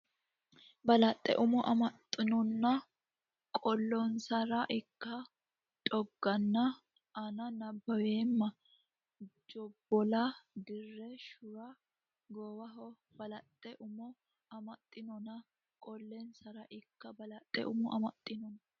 Balaxe umo amaxxannonna qolonsara ilka dhooqanna ani nabbaweemma jobbola dire shura gowanno Balaxe umo amaxxannonna qolonsara ilka Balaxe umo amaxxannonna.